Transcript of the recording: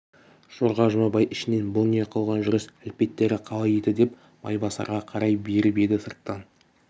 жорға жұмабай ішінен бұ не қылған жүріс әлпеттері қалай еді деп майбасарға қарай беріп еді сырттан